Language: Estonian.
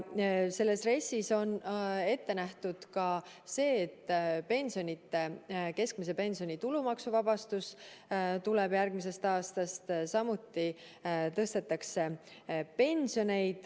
Selles RES-is on ette nähtud ka see, et keskmise pensioni tulumaksuvabastus tuleb järgmisest aastast, samuti tõstetakse pensione.